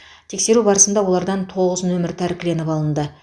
тексеру барысында олардан тоғыз нөмір тәркіленіп алынды